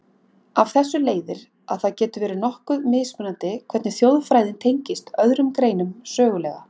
Af þessu leiðir, að það getur verið nokkuð mismunandi hvernig þjóðfræðin tengist öðrum greinum sögulega.